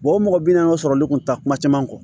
o mɔgɔ bi naani ka sɔrɔli kun tɛ kuma caman kɔ